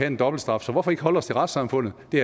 en dobbelt straf så hvorfor ikke holde os til retssamfundet det